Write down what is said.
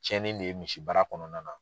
Cɛnnin de ye misibara kɔnɔna na?